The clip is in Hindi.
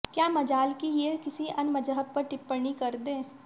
क्या मजाल की ये किसी अन्य मजहब पर टिप्पणी कर दें